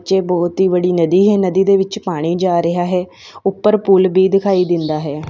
ਜਿਹ ਬਹੁਤ ਹੀ ਬੜੀ ਨਦੀ ਹੈ ਨਦੀ ਦੇ ਵਿੱਚ ਪਾਣੀ ਜਾ ਰਿਹਾ ਉੱਪਰ ਪੁੱਲ ਵੀ ਦਿਖਾਈ ਦਿੰਦਾ ਹੈ।